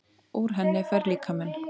Úr henni fær líkaminn